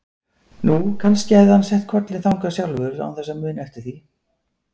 Nú, kannski hafði hann sett kollinn þangað sjálfur án þess að muna eftir því.